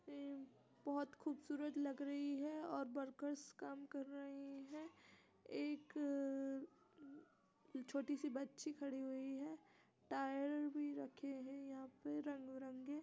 ये बहोत खूबसूरत लग रही है और वर्कर्स काम रहे हैं । एक छोटी सी बच्ची खड़ी हुई है । टायर भी रखे हैं यहाँ पे रंगबिरंगे ।